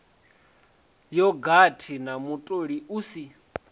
yogathi na mutoli u si